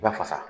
U bɛ fasa